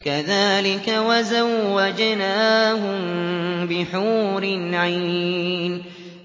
كَذَٰلِكَ وَزَوَّجْنَاهُم بِحُورٍ عِينٍ